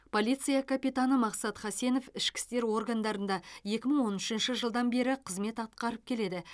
полиция капитаны мақсат хасенов ішкі істер органдарында екі мың он үшінші жылдан бері қызмет атқарып келеді